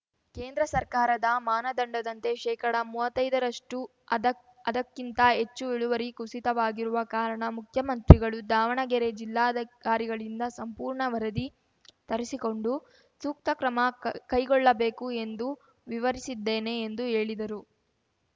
ಕೇಂದ್ರ ಸರ್ಕಾರದ ಮಾನದಂಡದಂತೆ ಶೇಕಡ ಮುವತ್ತೈದರಷ್ಟು ಅದ ಅದಕ್ಕಿಂತ ಹೆಚ್ಚು ಇಳುವರಿ ಕುಸಿತವಾಗಿರುವ ಕಾರಣ ಮುಖ್ಯಮಂತ್ರಿಗಳು ದಾವಣಗೆರೆ ಜಿಲ್ಲಾಧಿಕಾರಿಗಳಿಂದ ಸಂಪೂರ್ಣ ವರದಿ ತರಿಸಿಕೊಂಡು ಸೂಕ್ತ ಕ್ರಮ ಕ್ ಕೈಗೊಳ್ಳಬೇಕು ಎಂದು ವಿವರಿಸಿದ್ದೇನೆ ಎಂದು ಹೇಳಿದರು